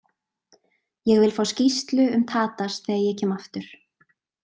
Ég vil fá skýrslu um Tadas þegar ég kem aftur.